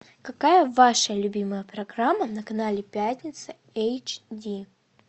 какая ваша любимая программа на канале пятница эйч ди